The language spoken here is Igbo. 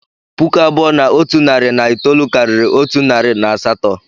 Puku abụọ na otu narị na itoolu karịrị otu narị na asatọ